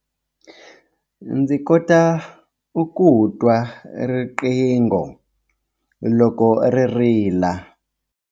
Ndzi kota ku twa riqingho loko ri rila.